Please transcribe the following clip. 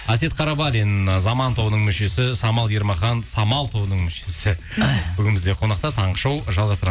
әсет қарабалин заман тобының мүшесі самал ермахан самал тобының мүшесі бүгін бізде қонақта таңғы шоу